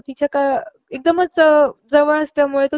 तो तिच्या एकदमच जवळ असल्यामुळे तो